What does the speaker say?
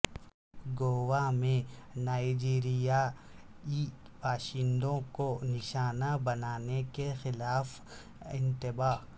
گوا میں نائیجریائی باشندوں کو نشانہ بنانے کے خلاف انتباہ